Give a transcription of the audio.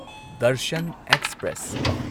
Darshan express